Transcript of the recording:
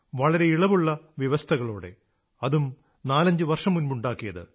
വളരെ ഇളവുള്ള വ്യവസ്ഥകളോടെ അതും നാലഞ്ചു വർഷം മുമ്പുണ്ടാക്കിയത്